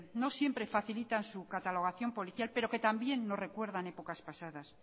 bueno no siempre facilitan su catalogación policial pero que también nos recuerdan épocas pasadas